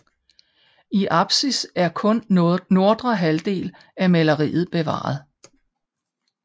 I apsis er kun nordre halvdel af maleriet bevaret